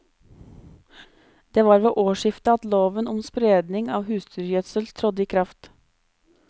Det var ved årsskiftet at loven om spredning av husdyrgjødsel trådte i kraft.